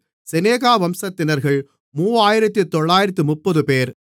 செனாகா வம்சத்தினர்கள் 3930 பேர்